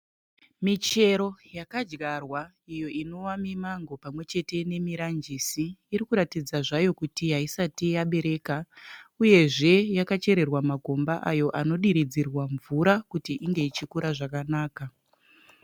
Michero yakadyarwa iyo inova mimango pamwechete nemiranjisi irikuratidza zvayo kuti haisati yabereka uyezve yakachererwa makomba ayo anodiridzirwa mvura kuti inge ichikura zvakanaka.